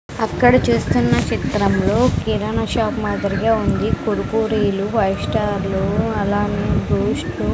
అక్కడ చూస్తున్న చిత్రంలో కిరాణా షాప్ మాదిరిగా ఉంది కురుకురేలు ఫైవ్ స్టార్ అలానే బూస్ట్లు --